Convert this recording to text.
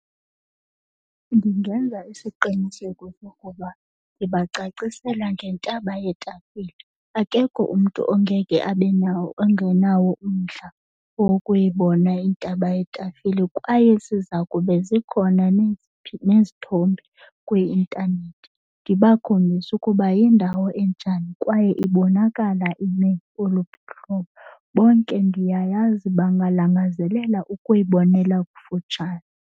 Ndingenza isiqinisekiso sokuba ndibacacisele ngentaba yetafile. Akekho umntu ongeke abe nawo ongenawo umdla wokuyibona intaba yetafile. Kwaye ziza kube zikhona nezithombe kwi-intanethi ndibakhombise ukuba yindawo enjani kwaye ibonakala ime oluphi uhlobo. Bonke ndiyayazi bangalangazelela ukuyibonela kufutshane.